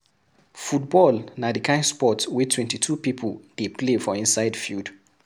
Football na di kind sport wey 22 people dey play for inside field